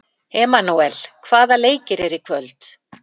Emanúel, hvaða leikir eru í kvöld?